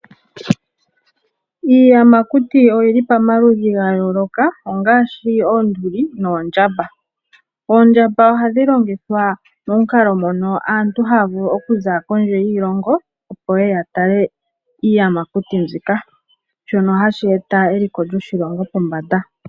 Iiyamakuti oyili pamaludhi ga yooloka ongaashi oonduli noondjamba, oondjamba ohadhi longithwa momukalo mono aantu haya vulu okuza kondje yiilongo, opo ye ye ya tale iiyamakuti mbika shono hashi eta eliko lyoshilongo pombanda.